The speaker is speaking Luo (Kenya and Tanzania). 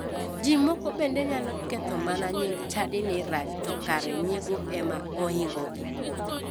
Ji moko bende nyalo mana ketho nying chadi ni rach to kara nyiego ema ohingogi.